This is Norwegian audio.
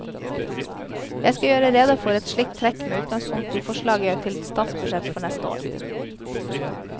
Jeg skal gjøre rede for ett slikt trekk med utgangspunkt i forslaget til statsbudsjett for neste år.